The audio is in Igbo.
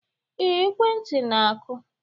Ee, ekwentị na-akụ